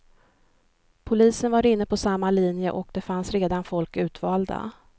Polisen var inne på samma linje, och det fanns redan folk utvalda.